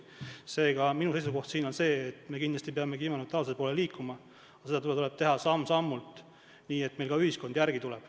Seega on minu seisukoht see, et me kindlasti peame kliimaneutraalsuse poole liikuma, aga seda tuleb teha samm-sammult, nii et ka ühiskond järele tuleb.